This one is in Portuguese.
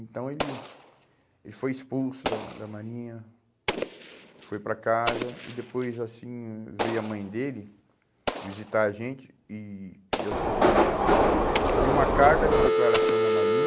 Então ele, ele foi expulso né da da Marinha, foi para casa e depois assim veio a mãe dele visitar a gente, e e ela falou que, pediu uma carta de declaração da Marinha.